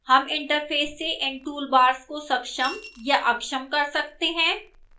हम interface से इन toolbars को सक्षम या अक्षम कर सकते हैं